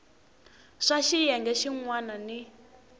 swa xiyenge xin wana ni